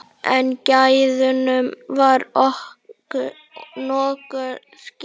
En gæðunum var nokkuð skipt.